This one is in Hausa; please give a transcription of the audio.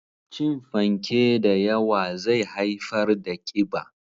Cin fanke da yawa zai haifar da ƙiba.